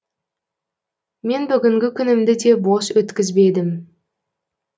мен бүгінгі күнімді де бос өткізбедім